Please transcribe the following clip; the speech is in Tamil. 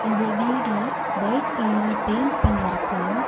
இந்த வீடு வையிட் கலர்ல பெயிண்ட் பண்ணிருக்கு.